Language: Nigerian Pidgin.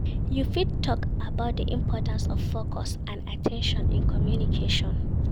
You fit talk about di importance of focus and at ten tion in communication.